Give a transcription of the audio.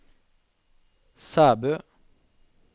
Sæbø